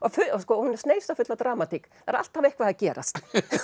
hún er sneisafull af dramatík það er alltaf eitthvað að gerast